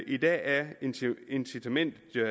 i dag er incitamentet til